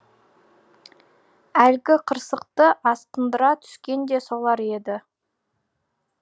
әлгі қырсықты асқындыра түскен де солар еді